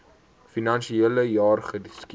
finansiele jaar geskied